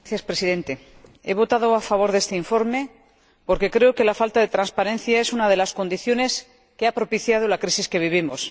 Señor Presidente, he votado a favor de este informe porque creo que la falta de transparencia es una de las condiciones que ha propiciado la crisis que vivimos.